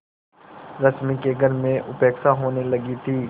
रश्मि की घर में उपेक्षा होने लगी थी